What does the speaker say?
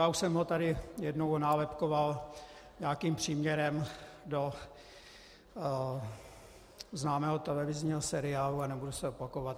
Já už jsem ho tady jednou nálepkoval nějakým příměrem do známého televizního seriálu a nebudu se opakovat.